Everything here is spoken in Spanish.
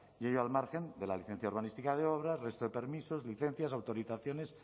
y ello al margen de la licencia urbanística de obra resto de permisos licencias autorizaciones